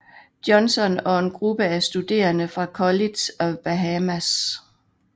Johnson og en gruppe af studerende fra College of Bahamas